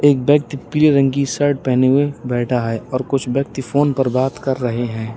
एक व्यक्ति पीले रंग की शर्ट पहने हुए बैठा है और कुछ व्यक्ति फोन पर बात कर रहे हैं।